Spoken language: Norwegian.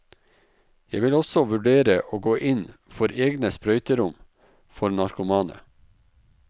Jeg vil også vurdere å gå inn for egne sprøyterom for narkomane.